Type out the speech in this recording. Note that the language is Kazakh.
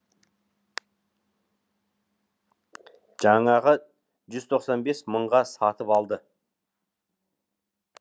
жаңағы жүз тоқсан бес мыңға сатып алды